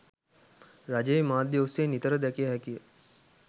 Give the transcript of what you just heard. රජයේ මාධ්‍ය ඔස්සේ නිතර දකිය හැකිය.